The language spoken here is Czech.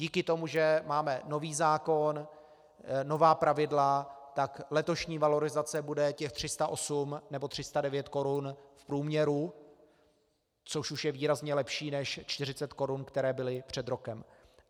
Díky tomu, že máme nový zákon, nová pravidla, tak letošní valorizace bude těch 308 nebo 309 korun v průměru, což už je výrazně lepší, než 40 korun, které byly před rokem.